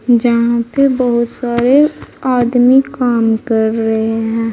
जहां पे बहोत सारे आदमी काम कर रहे हैं।